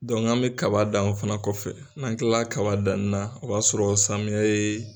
bɛ kaba dan o fana kɔfɛ n'an tilala kaba danni na o b'a sɔrɔ samiyɛ ye